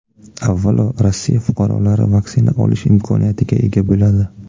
Avvalo Rossiya fuqarolari vaksina olish imkoniyatiga ega bo‘ladi.